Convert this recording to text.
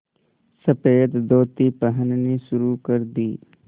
सफ़ेद धोती पहननी शुरू कर दी